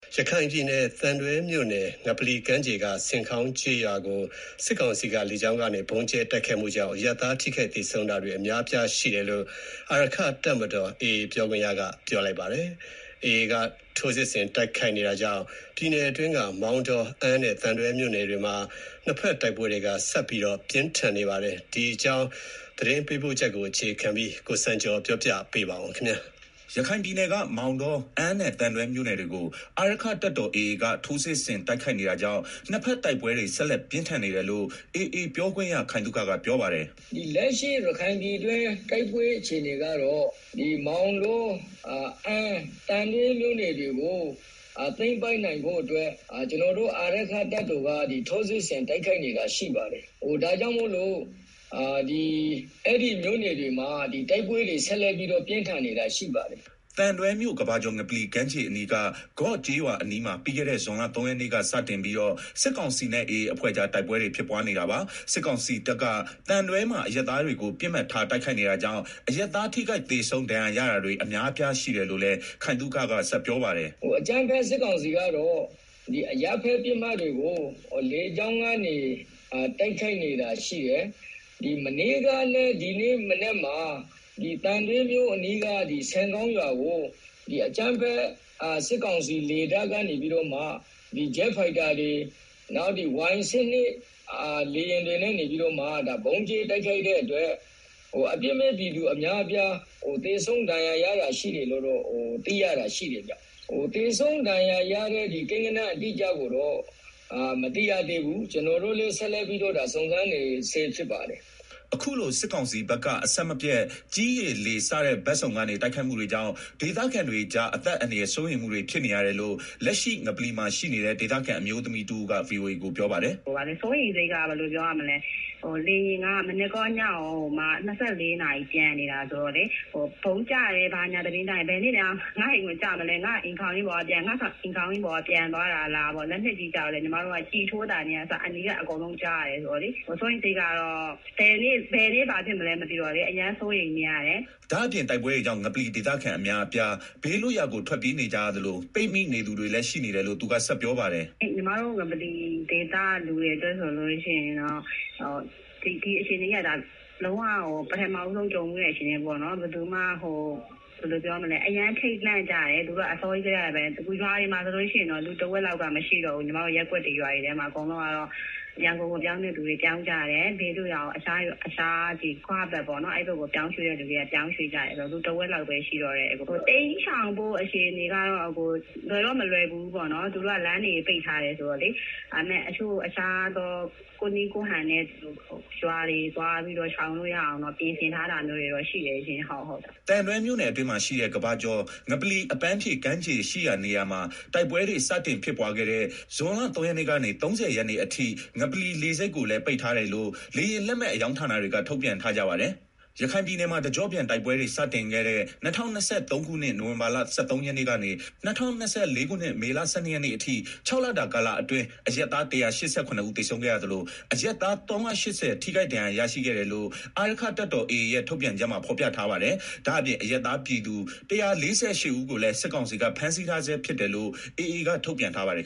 ရခိုင်ပြည်နယ်၊ သံတွဲမြို့နယ် ငပလီကမ်းခြေက ဆင်ခေါင်းကျေးရွာကို စစ်ကောင်စီက လေကြောင်းကနေ ဗုံးကြဲတိုက်မှုကြောင့် အရပ်သား ထိခိုက်သေဆုံးတာတွေ အများအပြားရှိတယ်လို့ အာရက္ခတပ်တော် AA ပြောခွင့်ရက ပြောပါတယ်။ AA က ထိုးစစ်ဆင်တိုက်ခိုက် နေတာကြောင့် ပြည်နယ်အတွင်းက မောင်တော၊ အမ်းနဲ့ သံတွဲမြို့နယ်တွေမှာ နှစ်ဘက် တိုက်ပွဲတွေ ဆက်လက် ပြင်းထန်နေပါတယ်။​ ဒီအကြောင်း သတင်းပေးပို့ချက်ကို အခြေခံပြီး ကိုစံကျော်က တင်ပြပေးပါမယ်။ ရခိုင်ပြည်နယ်က မောင်တော၊ အမ်းနဲ့ သံတွဲမြို့နယ်တွေကို အာရက္ခတပ်တော် AA က ထိုးစစ်ဆင်တိုက်ခိုက်နေတာကြောင့် နှစ်ဘက်တိုက်ပွဲတွေ ဆက်လက် ပြင်းထန်နေတယ်လို့ AA ပြောခွင့်ရ ခိုင်သုခကပြောပါတယ်။ “ရခိုင်ပြည်တွင်းတိုက်ပွဲ အခြေအနေကတော့ မောင်တော၊ အမ်းနဲ့ သံတွဲမြို့နယ်တွေကို သိမ်းပိုက်နိုင်ဖို့အတွက် ကျနော်တို့ အာရက္ခတပ်တော် AA က ထိုးစစ်ဆင်တိုက်ခိုက်နေတာ ရှိပါတယ်။ ဒါ့ကြောင့် အဲဒီမြို့နယ်တွေမှာ တိုက်ပွဲတွေ ဆက်လက်ပြင်းထန်နေတာရှိပါတယ်။” သံတွဲမြို့ ကမ္ဘာကျော် ငပလီကမ်းခြေအနီးက ဂေါ့ကျေးရွာအနီးမှာ ပြီးခဲ့တဲ့ ဇွန်လ ၃ရက်နေ့က စတင်ပြီးတော့ စစ်ကောင်စီနဲ့ AA အဖွဲ့ကြား တိုက်ပွဲတွေ ဖြစ်ပွားနေတာပါ။ စစ်ကောင်စီတပ်က သံတွဲမှာ အရပ်သားတွေကို ပစ်မှတ်ထားတိုက်ခိုက်နေတာကြောင့် အရပ်သား ထိခိုက် သေဆုံး ဒဏ်ရာရတာတွေ အများအပြားရှိတယ်လို့လည်း ခိုင်သုခက ဆက်ပြောပါတယ်။ “အကြမ်းဖက် စစ်ကောင်စီကတော့ အရပ်သားပစ်မှတ်တွေကို လေကြောင်းကနေ တိုက်ခိုက်နေတာရှိတယ်၊ မနေ့ကနဲ့ ဒီနေ့မနက်မှာ သံတွဲမြို့ အနီးက ဆင်ခေါင်းကျေးရွာကို စစ်ကောင်စီက ဂျက်ဖိုက်တာတွေ Y12 လေယာဉ်တွေနဲ့ ဗုံးကြဲတိုက်ခိုက်ခဲ့တာကြောင့် အပြစ်မဲ့ပြည်သူ အများအပြား သေဆုံး ဒဏ်ရာရတာတွေ ရှိတယ်လို့ သိရပါတယ်။ သေဆုံးဒဏ်ရာရတဲ့ ကိန်းဂဏန်း အတိအကျကိုတော့ မသိရသေးဘူး။ ကျနော်တို့လည်း ဆက်လက် စုံစမ်းနေဆဲ ဖြစ်ပါတယ်။” အခုလိုစစ်ကောင်စီဘက်က အဆက်မပြတ် ကြည်း၊ ရေ၊ လေ စတဲ့ ဘက်စုံကနေ တိုက်ခိုက်မှုတွေကြောင့် ဒေသခံတွေကြား အသက်အန္တရာယ် စိုးရိမ်မှုတွေ ဖြစ်နေရတယ်လို့ လက်ရှိ ငပလီမှာရှိနေတဲ့ ဒေသခံ အမျိုးသမီးတဦးက ဗွီအိုအေကို ပြောပါတယ်။ “ စိုးရိမ်စိတ်က ဘယ်လိုပြောရမလဲ လေယာဉ်က မနက်ကော ညကော ၂၄ နာရီပျံနေတာ ဆိုတော့လေ ဗုံးကျတယ် ဘာညာသတင်းကြားရင် ဘယ်နေ့များ ငါ့အိမ်ကိုကျမလဲ၊ လက်နက်ကြီးဆိုရင်လည်း ညီမတို့က ကျည်ထိုးသံတွေကအစ ကြားနေရတာဆိုတော့လေ၊ ဘယ်နေ့ဘာဖြစ်မလဲမသိတော့လေအရမ်းစိုးရိမ်နေကြတယ်။” ဒါ့အပြင် တိုက်ပွဲတွေကြောင့် ငပလီဒေသခံအများအပြား ဘေးလွတ်ရာကို ထွက်ပြေးနေကြရသလို ပိတ်မိနေသူတွေလည်း ရှိနေတယ်လို့ သူက ဆက်ပြောပါတယ်။ “ညီမတို့ ငပလီဒေသခံတွေက ဒီအခြေအနေက လုံးဝကို ပထမဆုံး ကြုံဖူးတဲ့ အခြေအနေပေါ့နော်။ အားလုံးက အရမ်း ထိပ်လန့်ကြတယ် အစောကြီးကတည်းကဘဲ။ ရွာတွေမှာ ဆိုလို့ရှိရင်တော့ တဝက်လောက်က မရှိတော့ဘူး။ ညီမတို့ ရပ်ကွက်တွေ၊ ရွာတွေထဲမှာ။ အကုန်လုံးကတော့ ရန်ကုန်ကို ပြောင်းတဲ့သူ ပြောင်းကြတယ်၊ အခြားဘေးလွတ်ရာတွေကို၊ ဂွ ဘက်ပေါ့နော်၊​ အဲ့ဘက်ကို ပြောင်းရွှေ့တဲ့သူက ပြောင်းရွှေ့ကြတယ်ဆိုတော့ လူက တဝက်လောက်ပဲ ရှိတော့တယ်။ တိမ်းရှောင်ဖို့အခြေအနေကတော့ လွယ်တော့ မလွယ်ကူဘူးပေါ့နော်၊ သူတို့က လမ်းတွေ ပိတ်ထားတယ် ဆိုတော့လေ။ ကိုယ့်နည်း ကိုယ့်ဟန်နဲ့ ရွာတွေသွားပြီး ရှောင်လို့ရအောင်တော့ ပြင်ဆင်ထားတာမျိုးတွေတော့ ရှိတယ်ရှင့်။” သံတွဲမြိုနယ်အတွင်းမှာရှိတဲ့ ကမ္ဘာကျော် ငပလီ အပန်းဖြေ ကမ်းခြေရှိရာနေရာမှာ တိုက်ပွဲတွေ စတင်ဖြစ်ပွားခဲ့တဲ့ ဇွန်လ ၃ရက်နေ့ကနေ ၃ဝရက်နေ့အထိ သံတွဲလေဆိပ်ကိုလည်း ပိတ်ထားတယ်လို့ လေယာဉ်လက်မှတ်အရောင်းဌာနတွေက ထုတ်ပြန် ထားကြပါတယ်။ ရခိုင်ပြည်နယ်မှာ တကျော့ပြန်တိုက်ပွဲတွေ စတင်ခဲ့တဲ့ ၂၀၂၃ခုနှစ် နိုင်ဝင်ဘာလ ၁၃ရက်နေ့ကနေ ၂၀၂၄ခုနှစ် မေလ ၁၂ရက်နေ့ အထိ ၆လတာကာလအတွင်း အရပ်သား ၁၈၇ ဦးသေဆုံးခဲ့ရသလို အရပ်သား ၃၈၀ ထိခိုက်ဒဏ်ရာရရှိခဲ့တယ်လို့ အာရက္ခတပ်တော် AA ရဲ့ ထုတ်ပြန်ချက်မှာ ဖော်ပြထားပါတယ်။ ဒါ့အပြင် အရပ်သားပြည်သူ ၁၄၈ ဦးကိုလည်း စစ်ကောင်စီက ဖမ်းဆီးထားဆဲ ဖြစ်တယ်လို့ AA က ထုန်ပြန်ထားပါတယ်